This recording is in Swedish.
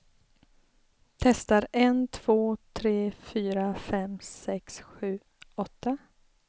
Testar en två tre fyra fem sex sju åtta.